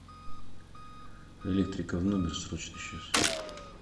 электрика в номер срочно сейчас